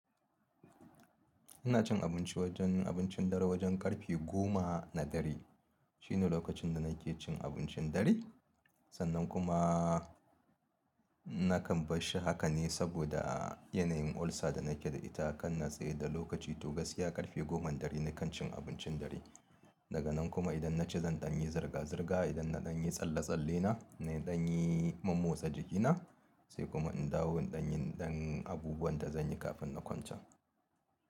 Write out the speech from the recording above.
Ina cin abinci wajen abincin dare wajen karfe goma na dare. Shine lokacin da nake cin abincin dare. Sannan kuma nakan bar shi haka ne saboda yanayin ulcer da nake da ita kan natse da lokaci. To gaskiya karfe goma na dare nakan cin abincin dare. Daga nan kuma idan na ci zan ɗan yi zirga-zirga, idan na ɗan yi tsalle-tsalle na, na ɗan yi mammosa jikina sai kuma in dawo in ɗan yin ɗan abubuwan da zan yi kafin na kwance.